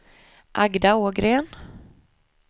Agda Ågren